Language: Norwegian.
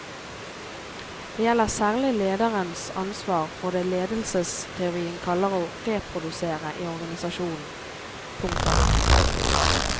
Det gjelder særlig lederens ansvar for det ledelsesteorien kaller å reprodusere i organisasjonen. punktum